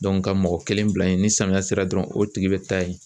ka mɔgɔ kelen bila yen ni samiyɛ sera dɔrɔn o tigi be taa yen